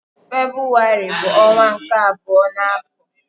Febrụwarị bu onwa nke abuo na afo